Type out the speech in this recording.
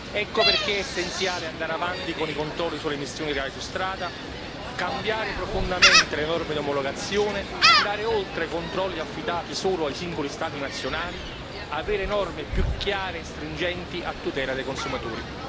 Ecco perché è essenziale andare avanti con i controlli sulle emissioni reali su strada, cambiare profondamente le norme di omologazione, andare oltre a controlli affidati solo ai singoli Stati nazionali e avere norme più chiare e stringenti a tutela dei consumatori.